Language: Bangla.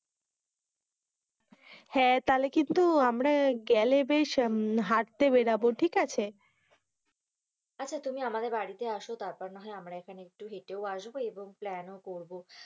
হেঁ, তাহলে কিন্তু আমরা গেলে বেশ হাটতে বেরাবো ঠিক আছে, আচ্ছা তুমি আমাদের বাড়ি তে আসো তার পর নাহয় আমরা এখানে একটু হেটেও এসব এবং প্ল্যানও করবো,